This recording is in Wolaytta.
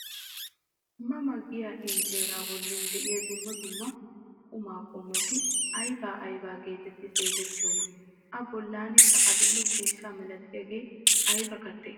Ma ma giyaa injjeraa bolli de'iyaa dumma dumma qumaa qomoti ayba ayba getetti xeegettiyoonaa? a bollankka adil'e ciishsha malatiyaagee ayba kattee?